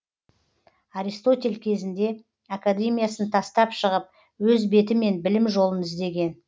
аристотель кезінде академиясын тастап шығып өз бетімен білім жолын іздеген